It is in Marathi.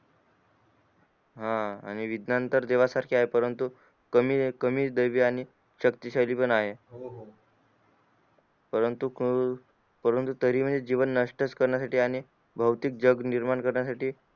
हा विज्ञान तर देवा सारखे आहे परंतु कमी कमी दयावी आणि शक्ती शाली पण आहे परंतु परंतु तरी म्हणजे जीवन नष्ट च करण्या साठी आणि भौतिक जीवन निर्माण करण्या साठी